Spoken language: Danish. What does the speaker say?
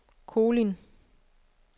Kolind